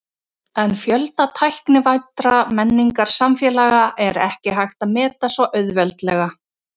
En fjölda tæknivæddra menningarsamfélaga er ekki hægt að meta svo auðveldlega.